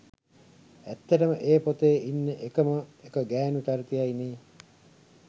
ඇත්තටම ඒ පොතේ ඉන්නෙ එකම එක ගෑණු චරිතයයි නේ